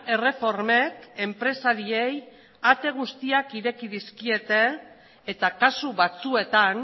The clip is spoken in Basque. erreformek enpresariei ate guztiak ireki dizkiete eta kasu batzuetan